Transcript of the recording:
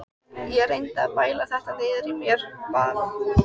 Ég reyndi að bæla þetta niður í mér, bað